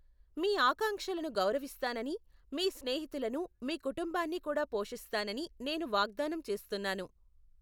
మీ ఆకాంక్షలను గౌరవిస్తానని, మీ స్నేహితులను, మీ కుటుంబాన్ని కూడా పోషిస్తానని నేను వాగ్దానం చేస్తున్నాను.